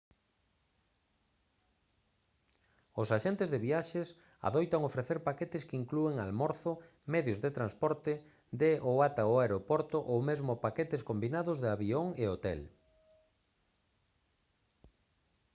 os axentes de viaxes adoitan ofrecer paquetes que inclúen almorzo medios de transporte de ou ata o aeroporto ou mesmo paquetes combinados de avión e hotel